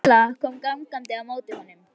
Milla kom gangandi á móti honum.